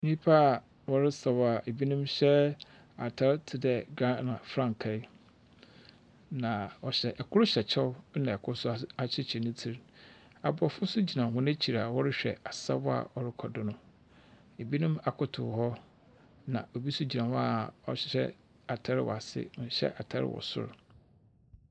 Nyimpa a wɔresaw a binom hyɛ atar te dɛ Ghana frankaa. Na wɔhyɛ kor hyɛ kyɛw na kor nso ahyehyɛ ne tsir Aborɔfo nso gyina hɔ ekyir a wɔrehwɛ asaw a ɔrokɔ do no. binom akotow hɔ. Na obi nso gyina hɔ a ɔhyɛ atar wɔ ase, ɔnhyɛ atar wɔ sor.